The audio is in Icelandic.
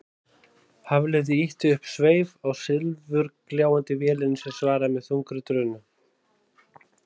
Hafliði ýtti upp sveif á silfurgljáandi vélinni sem svaraði með þungri drunu.